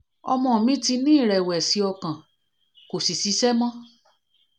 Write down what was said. ọmọ mi ti ní ìrẹ̀wẹ̀sì ọkàn kò sì ṣiṣẹ́ mọ́